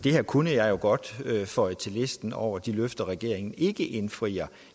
det her kunne jeg jo godt føje til listen over de løfter regeringen ikke indfrier